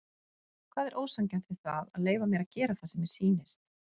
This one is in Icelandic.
Hvað er ósanngjarnt við það að leyfa mér að gera það sem mér sýnist?